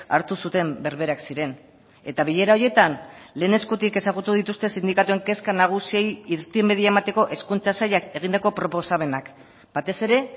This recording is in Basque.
hartu zuten berberak ziren eta bilera horietan lehen eskutik ezagutu dituzte sindikatuen kezka nagusiei irtenbidea emateko hezkuntza sailak egindako proposamenak batez ere